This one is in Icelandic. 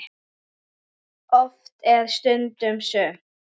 Oft er stundum sumt.